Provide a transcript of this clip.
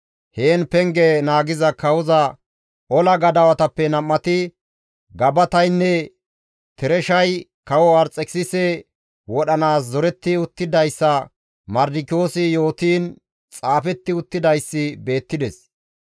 Heen penge naagiza kawoza ola gadawatappe nam7ati Gabataynne Tereshay kawo Arxekisise wodhanaas zoretti uttidayssa Mardikiyoosi yootiin xaafetti uttidayssi beettides.